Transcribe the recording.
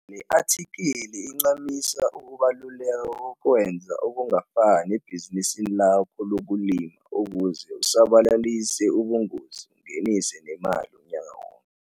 LE ATHIKHILI IGQAMISA UKUBALULEKA KOKWENZA OKUNGAFANI EBHIZINISINI LAKHO LOKULIMA UKUZE USABALALISE UBUNGOZI UNGENISE NEMALI UNYAKA WONKE.